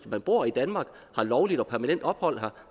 man bor i danmark har lovligt og permanent ophold her